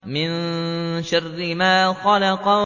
مِن شَرِّ مَا خَلَقَ